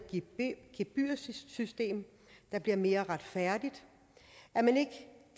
gebyrsystem der bliver mere retfærdigt og at man ikke